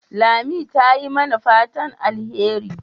Lami ta yi mana fatan alheri.